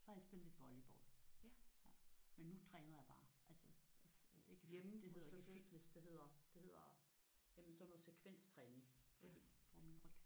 Så har jeg spillet lidt volleyball. Men nu træner jeg bare altså ikke hjemme det hedder ikke fitness det hedder det hedder jamen sådan noget sekvenstræning fordi for min ryg